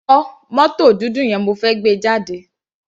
Fọ mótò dúdú yẹn, mo fẹ́ gbé e jáde.